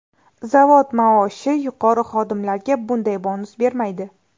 Zavod maoshi yuqori xodimlarga bunday bonus bermaydi.